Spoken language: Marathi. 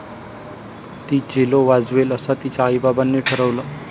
ती चेलो वाजवेल असं तिच्या आईबाबांनी ठरवलं.